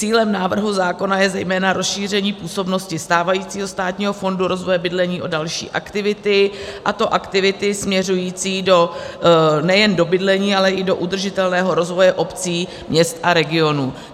Cílem návrhu zákona je zejména rozšíření působnosti stávajícího Státního fondu rozvoje bydlení o další aktivity, a to aktivity směřující nejen do bydlení, ale i do udržitelného rozvoje obcí, měst a regionů.